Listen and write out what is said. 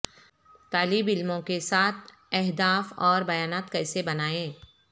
طالب علموں کے ساتھ اہداف اور بیانات کیسے بنائیں